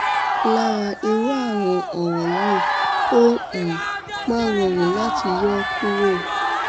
lára irú àwọn ọràn yìí ó um máa ń rọrùn láti yọ ó kúrò